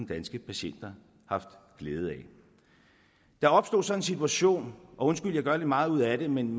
danske patienter haft glæde af der opstod så en situation undskyld jeg gør lidt meget ud af det men